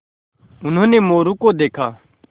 उन्होंने मोरू को देखा